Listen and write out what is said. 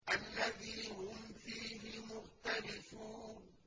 الَّذِي هُمْ فِيهِ مُخْتَلِفُونَ